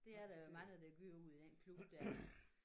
Det er der jo mange der gør ude i den klub der